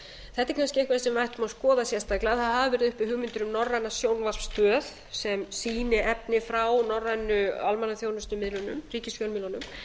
þetta er kannski eitthvað sem við ættum að skoða sérstaklega það hafa verið uppi hugmyndir um norræna sjónvarpsstöð sem sýni efni frá norrænu almannaþjónustumiðlunum ríkisfjölmiðlunum